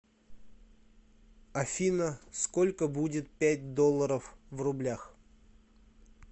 афина сколько будет пять долларов в рублях